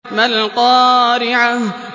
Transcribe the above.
مَا الْقَارِعَةُ